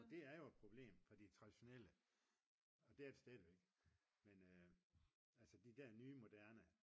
og det er jo et problem for de er traditionelle og det er de stadigvæk men de nye moderne